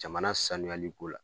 Jamana sanuyali ko la